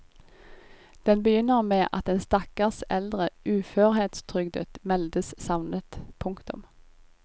Den begynner med at en stakkars eldre uførhetstrygdet meldes savnet. punktum